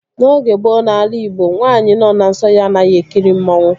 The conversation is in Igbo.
N'oge gboo n'ala igbo, nwaanyị nọ na nsọ ya anaghị ekiri mmanwu